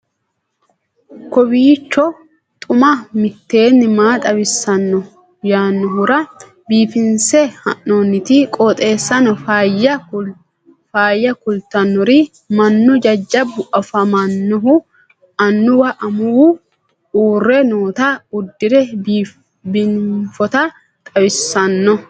kowiicho xuma mtini maa xawissanno yaannohura biifinse haa'noonniti qooxeessano faayya kultannori mannu jajjabu afaminohu annuwu amuwu uurre noota uddire biinfota xawissanno